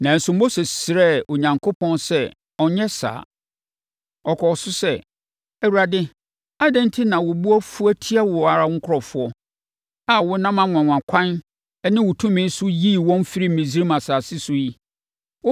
Nanso, Mose srɛɛ Onyankopɔn sɛ ɔnnyɛ saa. Ɔkɔɔ so sɛ, “ Awurade, adɛn enti na wo bo afu atia wo ara wo nkurɔfoɔ a wonam anwanwakwan ne wo tumi so yii wɔn firii Misraim asase so yi?